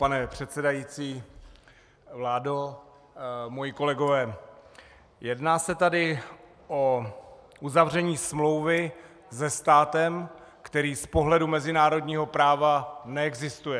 Pane předsedající, vládo, moji kolegové, jedná se tady o uzavření smlouvy se státem, který z pohledu mezinárodního práva neexistuje.